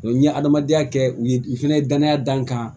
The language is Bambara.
N ye adamadenya kɛ u ye n fɛnɛ danaya da n kan